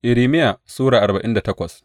Irmiya Sura arba'in da takwas